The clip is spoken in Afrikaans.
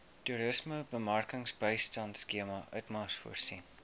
toerismebemarkingbystandskema itmas voorsien